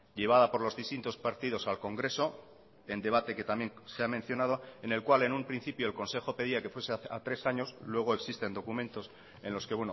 llevada por los distintos partidos al congreso en debate que también se ha mencionado en el cual en un principio el consejo pedía que fuese a tres años luego existen documentos en los que